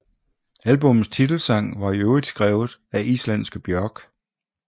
Albummets titelsang var i øvrigt skrevet af islandske Björk